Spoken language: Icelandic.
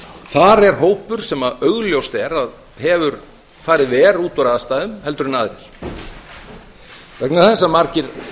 þar er hópur sem augljóst er að hefur farið verr út úr aðstæðum heldur en aðrir vegna þess að margir